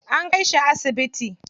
An kai shi asibiti.